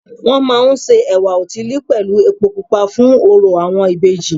Wọ́n máa ń se ẹ̀wá òtílí pẹ̀lú epo pupa fún orò àwọn ìbejì